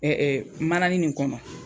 Ɛ ɛ manani nin kɔnɔ